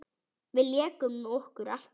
Við lékum okkur alltaf saman.